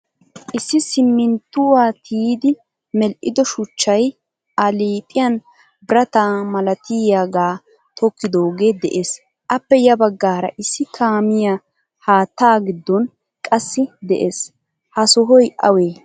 Issi siminttuwaa tiyidi medhdhido shuchchay a liiphphiyan birata malatiyaga tokkidoge de'ees. Appe ya baggaara issi kaamiyaa haattaa giddon qassi de'ees. Ha sohoy awe?